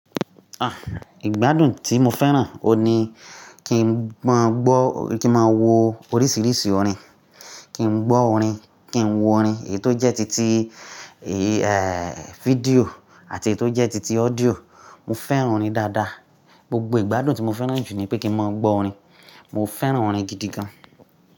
Ah! Ìgbádùn tí mo fẹ́ràn o ni kí n máa gbọ́, kí n máa wo oríṣiríṣi orin. Kí n gbọ́ orin, kí n wo orin, ètò jẹ́ titi, eh, video àti ètò jẹ́ titi audio. Mo fẹ́ràn orin dáadáa. Gbogbo ìgbádùn tí mo fẹ́ràn jù ni pé kí n máa gbọ́ orin. Mo fẹ́ràn orin gidi gan.